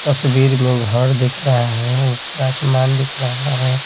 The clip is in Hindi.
तस्वीर में घर दिख रहा है ऊपर आसमान दिख रहा है।